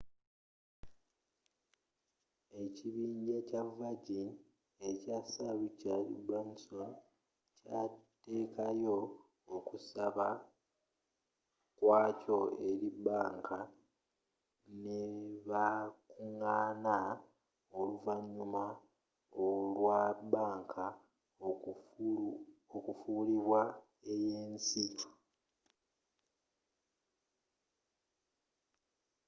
ekibinja kya virgin ekya sir richard branson kyatekayo okusaba kwa kyo eri bbanka nebakugaana oluvannyuma olwa bbanka okufuulibwa ey'ensi